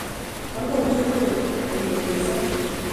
Mogen chu tugul kourereso